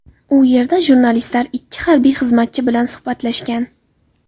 U yerda jurnalistlar ikki harbiy xizmatchi bilan suhbatlashgan.